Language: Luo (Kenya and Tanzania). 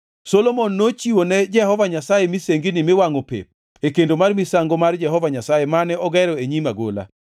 Solomon nochiwo ne Jehova Nyasaye misengini miwangʼo pep e kendo mar misango mar Jehova Nyasaye mane ogero e nyim agola,